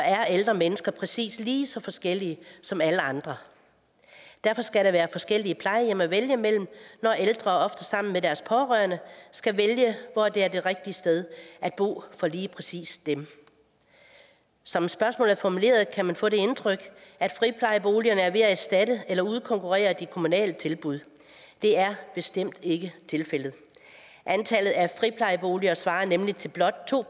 er ældre mennesker præcis lige så forskellige som alle andre derfor skal der være forskellige plejehjem at vælge imellem når ældre ofte sammen med deres pårørende skal vælge hvor det er det rigtige sted at bo for lige præcis dem som spørgsmålet er formuleret kan man få det indtryk at friplejeboligerne er ved at erstatte eller udkonkurrere de kommunale tilbud det er bestemt ikke tilfældet antallet af friplejeboliger svarer nemlig til blot to